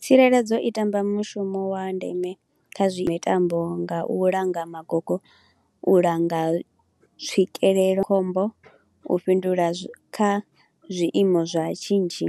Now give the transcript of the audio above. Tsireledzo i tamba mushumo wa ndeme kha zwa mitambo nga u langa magogo, u langa tswikelelo, khombo, u fhindula kha zwiimo zwa shishi,